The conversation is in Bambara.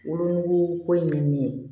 Wolonugu ko in bɛ min ye